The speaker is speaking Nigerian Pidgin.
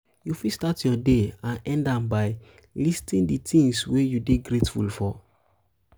you fit start your day and end am by listing um di things wey you dey grateful for